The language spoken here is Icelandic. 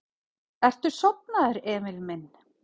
Ertu sofnaður, Emil minn?